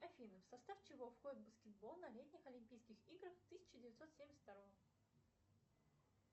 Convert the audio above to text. афина в состав чего входит баскетбол на летних олимпийских играх тысяча девятьсот семьдесят второго